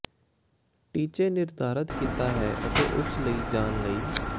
ਟੀਚੇ ਨਿਰਧਾਰਿਤ ਕੀਤਾ ਹੈ ਅਤੇ ਉਸ ਲਈ ਜਾਣ ਲਈ